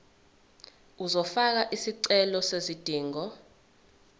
uzofaka isicelo sezidingo